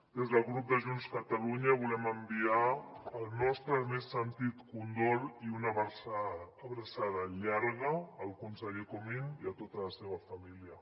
des del grup de junts per catalunya volem enviar el nostre més sentit condol i una abraçada llarga al conseller comín i a tota la seva família